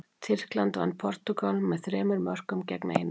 Tyrkland vann Portúgal með þremur mörkum gegn einu.